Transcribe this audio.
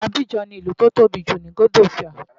Abidjan ni ìlú tó tóbi jù ní C'ote D'Ivoire.